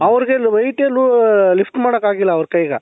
ಅವರಿಗೆ weight ಎಲ್ಲೂ lift ಮಾಡಕಾಗಿಲ್ಲ ಅವರ ಕೈಗ